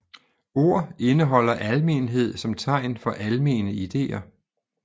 Ord indeholder almenhed som tegn for almene ideer